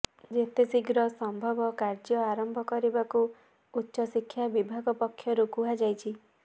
ଯେତେଶୀଘ୍ର ସମ୍ଭବ କାର୍ଯ୍ୟ ଆରମ୍ଭ କରିବାକୁ ଉଚ୍ଚଶିକ୍ଷା ବିଭାଗ ପକ୍ଷରୁ କୁହାଯାଇଛି